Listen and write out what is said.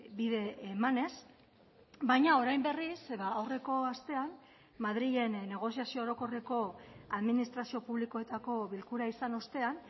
bide emanez baina orain berriz aurreko astean madrilen negoziazio orokorreko administrazio publikoetako bilkura izan ostean